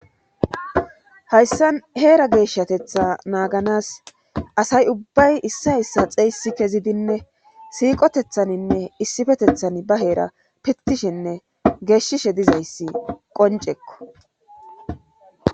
Hayssa heera geeshshatetha naaganas asay ubbay issa issa xeysi kezidinne siiqotethaninne issifetethan ba heera pitishenne geeshshishe dizayssi qoncekko